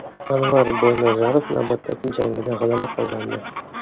Anvar Boynazarov navbatdagi jangida g‘alaba qozondi .